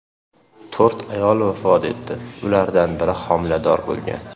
To‘rt ayol vafot etdi, ulardan biri homilador bo‘lgan.